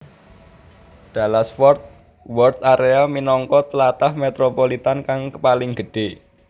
Dallas Fort Worth area minangka tlatah metropolitan kang paling gedhé